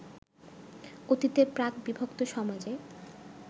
অতীতের প্রাক-বিভক্ত সমাজে